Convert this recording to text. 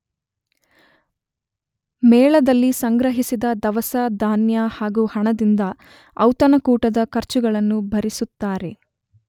ಮೇಳದಲ್ಲಿ ಸಂಗ್ರಹಿಸಿದ ದವಸ, ಧಾನ್ಯ ಹಾಗೂ ಹಣದಿಂದ ಔತಣಕೂಟದ ಖರ್ಚುಗಳನ್ನು ಭರಿಸುತ್ತಾರೆ.